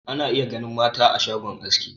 Ana iya ganin mata ma a shagon aski.